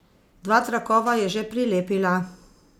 Dva trakova je že prilepila.